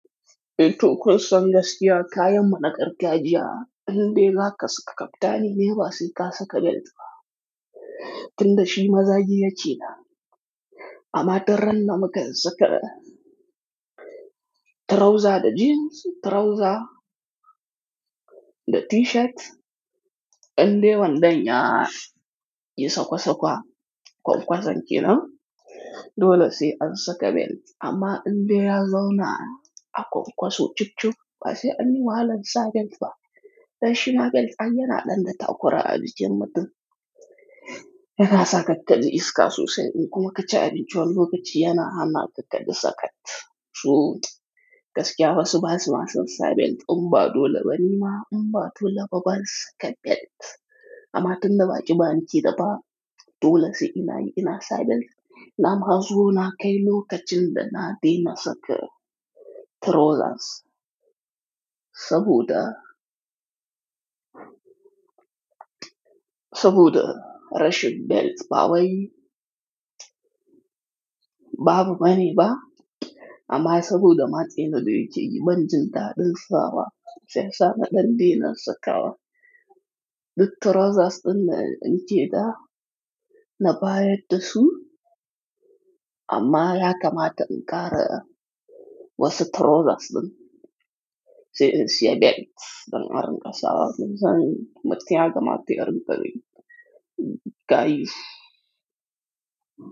Eto, kirsan gaskiya kayan mana gargajiya in de ga kaska kaftani ne ba sai ka saka belt ba. Tun da shi mazaji ya cina. Amma tunran na makan saka trauza da jeans, trauza da t-shirt, in dai dandanya yi sakwasakwa kwankwazon ke nan dole sai an saka belt. Amma in dai ya zauna a kwankwaso cicu ba sai an yi walansa belt ba. Dan shima belt an yana ɗan da takwara a bijin mutum. Ya kasa kakkadi iska susen in kuma kaci abinci wani lokaci yana hana kakkadi sakat. Su kaskiya basu ba su masun sa belt. Umba dole bani ma umba dole babba sai saka belt. Amma tun da baƙi ba ni ke da ba dole sai ina yi ina sa belt. Nam hazuwo na kai lokacin da na daina saka trauzas saboda, saboda rashin belt ba wai babu bane ba amma saboda matse na biyu ce yi banjinta ɗin fawa sai sa na dande na saka wa duk trauzas ɗin na in ke da na baya dasu amma ya kamata in ƙara wasu trauzas ɗin sai in siya belt don arin kasa. Zan matse ya kamata in bari gayu.